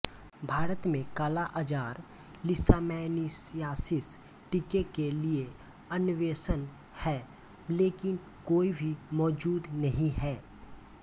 भारत में कालाअजार लीशमैनियासिस टीके के लिए अन्वेषण है लेकिन कोई भी मौजूद नहीं है